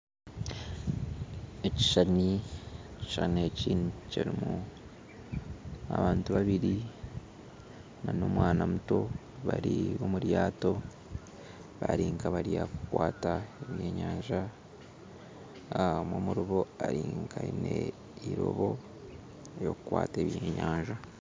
Ekishishani eki kirimu abantu babiri na omwana muto bari omuryato barinkabarikukwata ebyenyanja, omwe omuribo aine eirobo eryokukwata ebyenyanja.